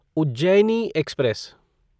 Ujjaini express